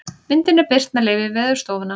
myndin er birt með leyfi veðurstofunnar